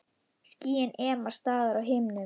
Skýin ema staðar á himnum.